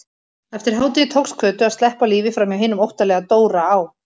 Eftir hádegi tókst Kötu að sleppa á lífi framhjá hinum óttalega Dóra á